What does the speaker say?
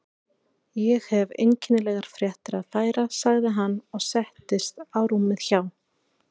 Ég hef einkennilegar fréttir að færa sagði hann og settist á rúmið hjá